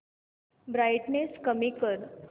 brightness कमी कर